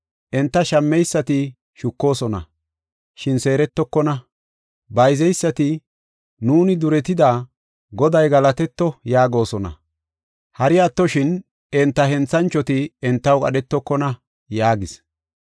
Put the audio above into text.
Enta shammeysati shukoosona; shin seerettokona. Bayzeysati, ‘Nuuni duretida; Goday galatetto’ yaagosona; hari attoshin, enta henthanchoti entaw qadhetokona” yaagis.